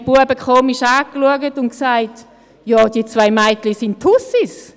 Die Knaben schauten mich verwundert an und sagten: Ja, die zwei Mädchen sind Tussis.